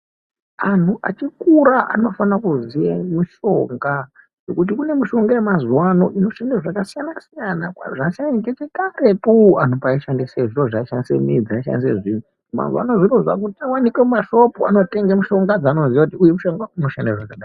Anhu achikura anofana kuziye mushonga nokuti kune mushonga yemazuwa ano inoshanda zvakasiyana siyana zvasamboita karetu anhu pavaishandise zviro zvavishabdisa midzi dzavaishandisa mazuva ano zvinhu zvava kuwanikwa muma shopu anotenga zviro zvavanozuya kuti uyu mishonga unoshanda zvakadai